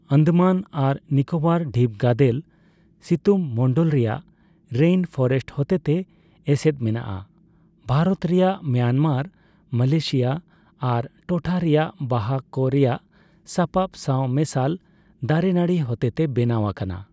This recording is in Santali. ᱟᱱᱫᱟᱢᱟᱱ ᱟᱨ ᱱᱤᱠᱳᱵᱚᱨ ᱰᱷᱤᱯᱜᱟᱫᱮᱞ ᱥᱤᱛᱩᱝᱢᱚᱱᱰᱚᱞ ᱨᱮᱭᱟᱜ ᱨᱮᱭᱤᱱ ᱯᱷᱚᱨᱮᱥᱴ ᱦᱚᱛᱮᱛᱮ ᱮᱥᱮᱫ ᱢᱮᱱᱟᱜᱼᱟ, ᱵᱷᱟᱨᱚᱛ ᱨᱮᱭᱟᱜ, ᱢᱟᱭᱟᱱᱢᱟᱨ, ᱢᱟᱞᱚᱭᱮᱥᱤᱭᱚ ᱟᱨ ᱴᱚᱴᱷᱟ ᱨᱮᱭᱟᱜ ᱵᱟᱦᱟ ᱠᱚ ᱨᱮᱭᱟᱜ ᱥᱟᱯᱟᱵ ᱥᱟᱶ ᱢᱮᱥᱟᱞ ᱫᱟᱨᱮᱱᱟᱹᱲᱤ ᱦᱚᱛᱮᱛᱮ ᱵᱮᱱᱟᱣ ᱟᱠᱟᱱᱟ ᱾